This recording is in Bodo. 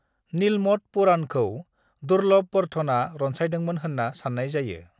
नीलमत पुराणखौ दुर्लभवर्धनआ रनसायदोंमोन होनना साननाय जायो।